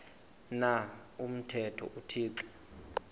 na umthetho uthixo